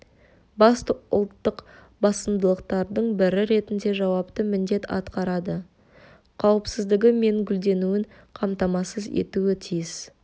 басты ұлттық басымдықтардың бірі ретінде жауапты міндет атқарады қауіпсіздігі мен гүлденуін қамтамасыз етуі тиіс